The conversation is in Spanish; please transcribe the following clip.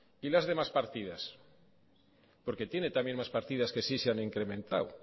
y las demás partidas porque tienen también más partidas que si se han incrementado